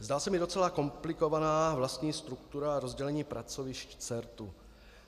Zdá se mi docela komplikovaná vlastní struktura rozdělení pracovišť CERT.